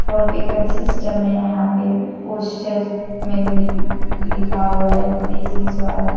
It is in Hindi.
फोनपे का भी सिस्टम है यहां पे पोस्टर में लिखा हुआ है देसी स्वाद।